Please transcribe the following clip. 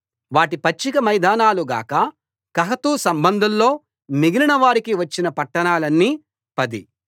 వాటి పచ్చిక మైదానాలు గాక కహాతు సంబంధుల్లో మిగిలినవారికి వచ్చిన పట్టణాలన్నీ పది